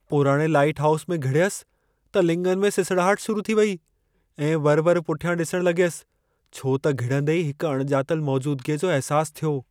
पुराणे lighthouse में घिड़यसि त लिङनि में सिसड़ाहट शुरू थी वेई ऐं वरि-वरि पुठियां डि॒सणु लग॒यसि छो त घिड़ंदे ई हिकु अणिॼातलु मौजूदगीअ जो अहिसास थियो।